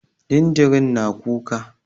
Jinjirin na kuka